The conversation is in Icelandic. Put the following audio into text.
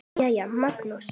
Jæja, Magnús.